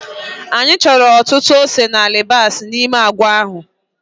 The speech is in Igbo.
Anyị chọrọ ọtụtụ ose na alibasa n'ime agwa ahụ